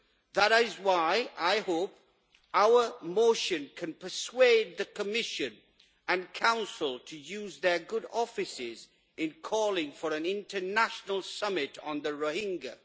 That is why I hope that our motion can persuade the Commission and Council to use their good offices in calling for an international summit on the Rohingya.